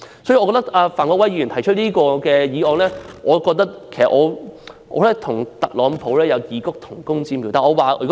我覺得范國威議員提出這項議案，與特朗普有異曲同工之妙。